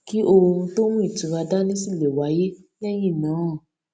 kí oorun tó mú ìtura dání sì lè wáyé lẹyìn náà